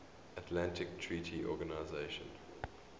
atlantic treaty organisation